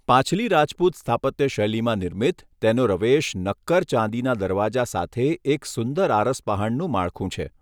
પાછલી રાજપૂત સ્થાપત્ય શૈલીમાં નિર્મિત, તેનો રવેશ નક્કર ચાંદીના દરવાજા સાથે એક સુંદર આરસપહાણનું માળખું છે.